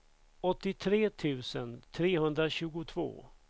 åttiotre tusen trehundratjugotvå